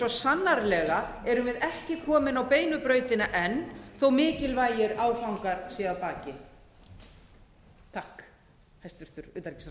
sannarlega erum við ekki komin á beinu brautina enn þó að mikilvægir áfangar séu að baki takk hæstvirts